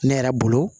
Ne yɛrɛ bolo